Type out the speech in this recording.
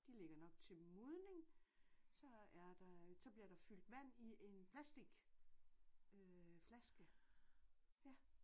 De ligger nok til modning. Så er der så bliver der fyldt vand i en plastik øh flaske ja